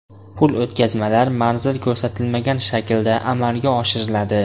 Pul o‘tkazmalar manzil ko‘rsatilmagan shaklda amalga oshiriladi.